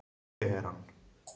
Teheran